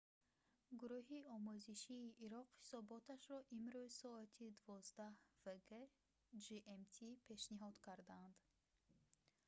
гуруҳи омӯзишии ироқ ҳисоботашро имрӯз соати 12:00 вг gmt пешниҳод карданд